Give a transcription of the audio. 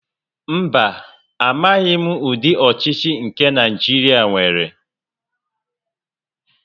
Mba, amaghim udi ochichi nke Naijiria nwere